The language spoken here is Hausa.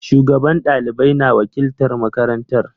Shugaban ɗalibai na wakiltar marakanatar.